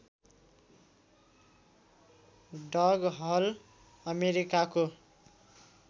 डग Hull अमेरिकाको